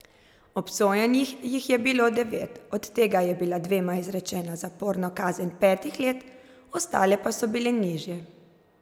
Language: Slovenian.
Obsojenih jih je bilo devet, od tega je bila dvema izrečena zaporna kazen petih let, ostale pa so bile nižje.